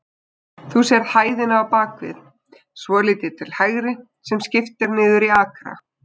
Þú sérð hæðina á bakvið, svolítið til hægri, sem skipt er niður í akra?